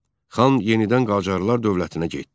Xan yenidən Qacarlar dövlətinə getdi.